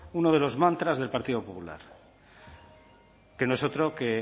uno de los mantras del partido popular que no es otro que